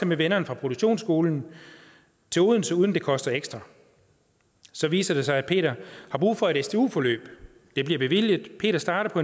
med vennerne fra produktionsskolen til odense uden det koster ekstra så viser det sig at peter har brug for et stu forløb det bliver bevilget og peter starter på